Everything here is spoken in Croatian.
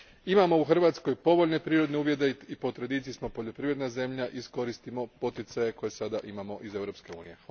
Imamo u Hrvatskoj povoljne prirodne uvjete i po tradiciji smo poljoprivredna zemlja, iskoristimo poticaje koje sada imamo iz Europske unije.